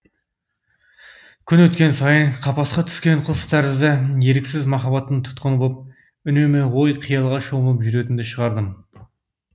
күн өткен сайын қапасқа түскен құс тәрізді еріксіз махаббаттың тұтқыны боп үнемі ой қиялға шомылып жүретінді шығардым